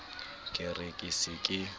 ke re ke se ke